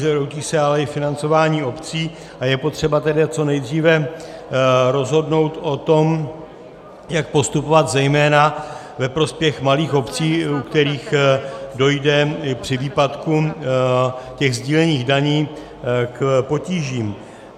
Zhroutí se ale i financování obcí, a je potřeba tedy co nejdříve rozhodnout o tom, jak postupovat zejména ve prospěch malých obcí, u kterých dojde při výpadku těch sdílených daní k potížím.